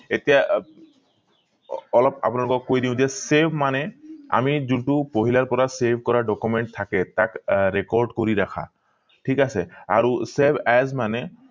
এতিয়া আহ অলপ আপোনালোকক কৈ দিও যে save মানে আমি যোনটো পহিলৰ পৰা save কৰা document থাকে তাক আহ record কৰি ৰাখা ঠিক আছে আৰু save as মানে